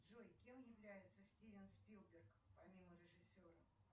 джой кем является стивен спилберг помимо режиссера